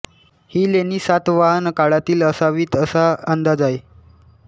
ही लेणी सातवाहन काळातील असावीत असा अंदाज आहे